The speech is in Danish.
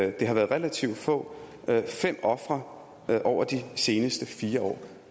at det har været relativt få det er fem ofre over de seneste fire år